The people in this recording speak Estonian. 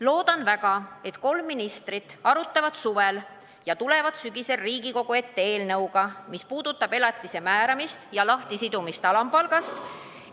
Loodan väga, et kolm ministrit arutavad suvel ja tulevad sügisel Riigikogu ette eelnõuga, mis puudutab elatise määramist ja lahtisidumist alampalgast.